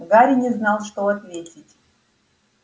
гарри не знал что ответить